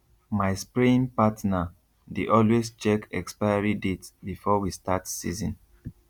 my spraying partner dey always check expiry date before we start season